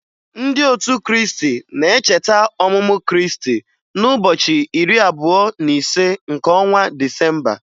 Ndị otu Kriisti na-echeta ọmụmụ Kriisti n'ụbọchị iri abụọ na ise nke ọnwa Disemba